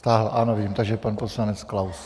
Stáhl - ano, vidím, takže pan poslanec Klaus.